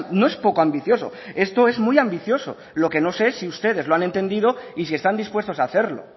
no es poco ambicioso esto es muy ambicioso lo que no sé es si ustedes lo han entendido y si están dispuestos a hacerlo